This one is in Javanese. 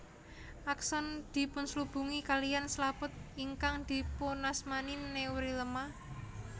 Akson dipunslubungi kaliyan slaput ingkang dipunasmani neurilema